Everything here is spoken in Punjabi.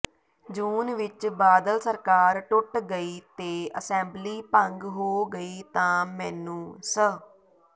ਜੂਨ ਵਿੱਚ ਬਾਦਲ ਸਰਕਾਰ ਟੁੱਟ ਗਈ ਤੇ ਅਸੈਂਬਲੀ ਭੰਗ ਹੋ ਗਈ ਤਾਂ ਮੈਨੂੰ ਸ